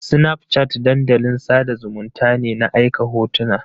Snapchat dandalin sada zumunnta ne na aika hotuna